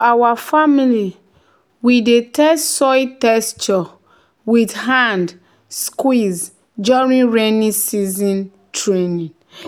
"ex ten sion officer teach us say if tomato leaf dey curl e fit mean tomato don dey sick."